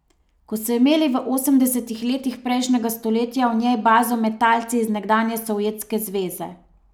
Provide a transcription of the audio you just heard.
Ko so imeli v osemdesetih letih prejšnjega stoletja v njej bazo metalci iz nekdanje Sovjetske zveze.